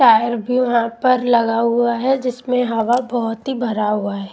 Tyre भी वहां पर लगा हुआ है जिसमें हवा बहोत ही भरा हुआ है।